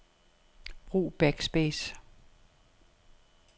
Brug backspace.